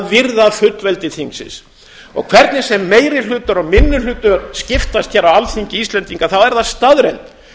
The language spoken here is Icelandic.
virða fullveldi þingsins og hvernig sem meiri hlutar og minni hlutar skiptast hér á alþingi íslendinga er það staðreynd